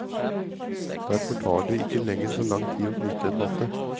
Derfor tar det ikke lenger så lang tid å knytte en matte.